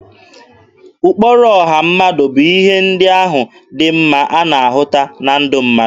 Ụkpụrụ ọha mmadụ bụ ihe ndị ahụ dị mma a na-ahụta na ndụ mmadụ.